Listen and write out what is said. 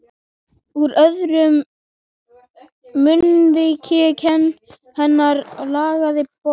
Úr öðru munnviki hennar lagaði blóð.